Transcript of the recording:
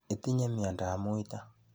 Itinye miandoab muito.